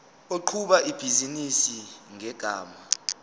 oqhuba ibhizinisi ngegama